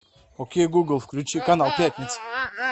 окей гугл включи канал пятница